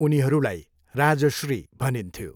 उनीहरूलाई राजश्री भनिन्थ्यो।